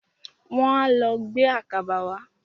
Wọ́n á lọ gbé àkàbà wá.